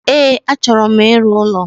E, achọro m ịrụ ụlọ